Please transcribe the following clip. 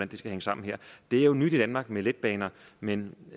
det skal hænge sammen der det er jo nyt i danmark med letbaner men